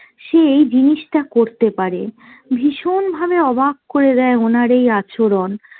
সে এই জিনিষটা করতে পারে। ভীষণ ভাবে অবাক করে দেয় ওনার এই আচরণ।